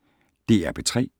DR P3